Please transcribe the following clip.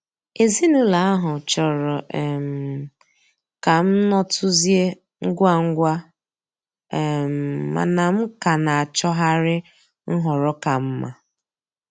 Ezinụlọ ahụ chọrọ um ka m nọtuzie ngwa ngwa, um mana m ka na-achọgharị nhọrọ ka mma.